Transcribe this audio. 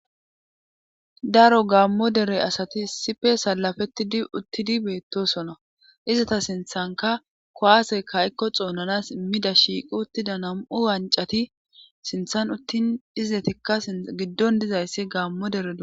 daro gaammo dere asati issife salafetidi uttidi beettosona izata sinthanka kowaasey kayikko xounanas immida shiiqi uttida nam7u wancati sinthan uttin izetikka giddon dizayssi gaammo dere do